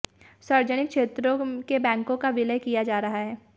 सार्वजनिक क्षेत्रों के बैंकों का विलय किया जा रहा है